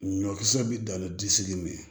Ɲɔkisɛ bi dan ni disi min ye